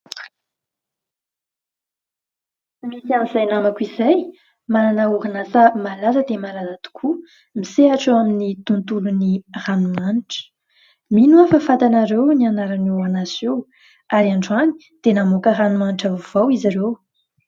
Misy an'izay namako izay manana orinasa malaza dia malaza tokoa, misehatra eo amin'ny tontolon'ny ranomanitra. Mino aho fa fantanareo ny anaran'io orinasa io ary androany dia namoaka ranomanitra vaovao izy ireo.